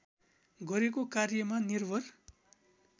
गरेको कार्यमा निर्भर